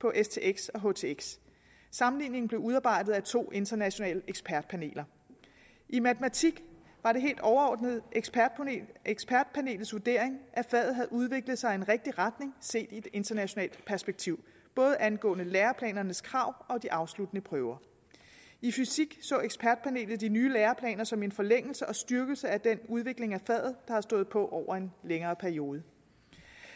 på stx og htx sammenligningen blev udarbejdet af to internationale ekspertpaneler i matematik var det helt overordnet ekspertpanelets vurdering at faget havde udvikle sig i en rigtig retning set i et internationalt perspektiv både angående læreplanernes krav og de afsluttende prøver i fysik så ekspertpanelet de nye læreplaner som en forlængelse og styrkelse af den udvikling af faget der har stået på over en længere periode